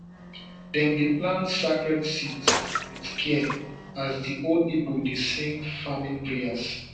dem dey plant sacred seeds with care as di old people dey sing farming prayers